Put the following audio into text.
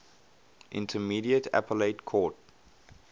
intermediate appellate court